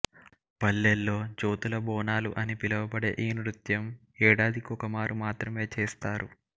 పల్లెల్లో జ్యోతుల బోనాలు అని పిలువబడే ఈ నృత్యం ఏడాదికొకమారు మాత్రమే చేస్తారు